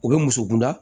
U bɛ musokunda